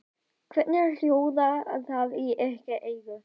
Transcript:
Hvernig hljóðar það í ykkar eyru?